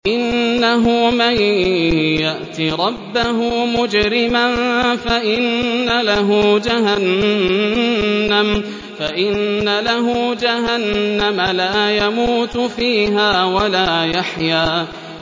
إِنَّهُ مَن يَأْتِ رَبَّهُ مُجْرِمًا فَإِنَّ لَهُ جَهَنَّمَ لَا يَمُوتُ فِيهَا وَلَا يَحْيَىٰ